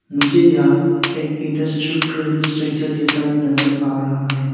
मुझे यह एक इंडस्ट्रियल स्ट्रक्चर जैसा नजर आ रहा है।